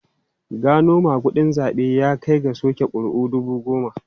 Gano magudin zabe ya kai ga soke kuri'u dubu goma.